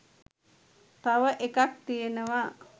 තව එකක් තියෙනවා